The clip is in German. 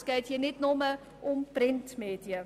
Es geht hier nicht nur um die Printmedien.